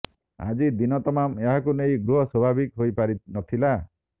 ଆଜି ଦିନ ତମାମ ଏହାକୁ ନେଇ ଗୃହ ସ୍ବାଭାବିକ ହୋଇପାରି ନଥିଲା